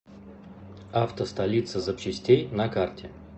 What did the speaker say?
авто столица запчастей на карте